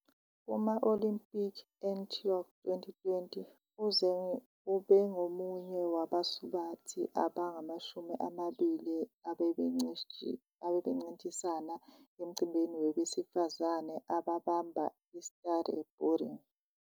Kuma-Olimpiki eTokyo 2020, uZeng ubengomunye wabasubathi abangamashumi amabili abebencintisana emcimbini wabesifazane ababamba i-skateboarding.